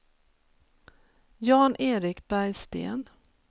Jan-Erik Bergsten